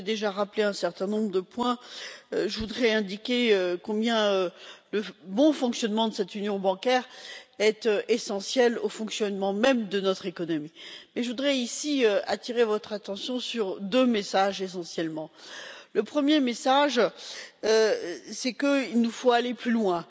Vous avez déjà rappelé un certain nombre de points, et je voudrais indiquer combien le bon fonctionnement de cette union bancaire est essentiel au fonctionnement même de notre économie. Je souhaiterais attirer votre attention sur deux messages. Le premier message est qu'il nous faut aller plus loin.